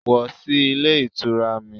Wọ̀ sí Ilé Ìtura mi